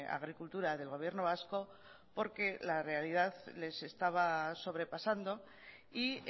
agricultura del gobierno vasco porque la realidad les estaba sobrepasando y